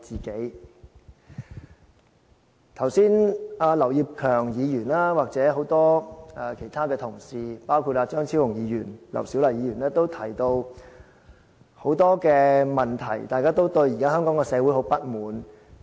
剛才劉業強議員，或者很多其他同事，包括張超雄議員、劉小麗議員都提到很多問題，大家都對現在的香港社會很不滿。